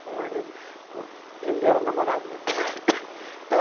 O marido o ele era namorado dela. Então